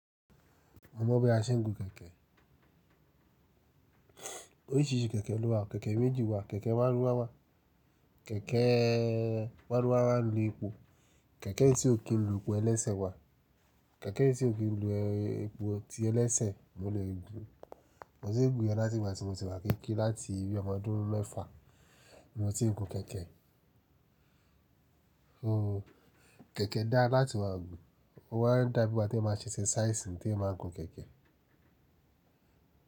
Mo mọ̀ bí a ṣe ń gun kẹ̀kẹ́. Oríṣìíríṣìí kẹ̀kẹ́ ló wà. Kẹ̀kẹ́ méjì wà. Kẹ̀kẹ́ márúwá wà. Kẹ̀kẹ́ márúwá máa ń lo epo. Kẹ̀kẹ́ tí ò kí ń lu epo ẹlẹ́sẹ̀ wà. Kẹ̀kẹ́ tí ò kí ń lu epo tí ẹlẹ́sẹ̀ mo lè gun. Mo ti ń gùn yẹn láti ìgbà tí mo ti wá kéékèè láti ibi ọmọ ọdún mẹ́fà ni mo ti ń gun kẹ̀kẹ́. Ooh, kẹ̀kẹ́ da láti máa gùn. O wa ń dá bí igba tí eeyan maa ń ṣe esesáìsì tí ẹeyan máa ń gun kẹ̀kẹ́.